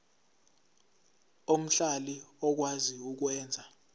omhlali okwazi ukwenza